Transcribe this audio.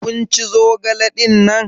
Kin ci zogale dinnan?